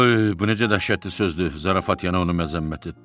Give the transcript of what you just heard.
Ay, bu necə dəhşətli sözdür, zarafat ona onu məzəmmət etdi.